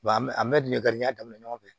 an bɛ an bɛ garijigɛ daminɛ ɲɔgɔn fɛ